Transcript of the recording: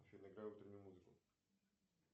афина играй утреннюю музыку